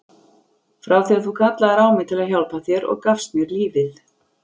Frá því að þú kallaðir á mig til að hjálpa þér og gafst mér lífið.